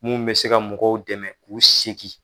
Mun be se ka mɔgɔw dɛmɛ k'u segin